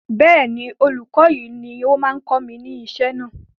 bẹ́ẹ̀ni, olùkọ́ yìí ni ó máa ń kọ́ mi ní isẹ́ náà